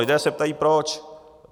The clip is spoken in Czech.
Lidé se ptají proč.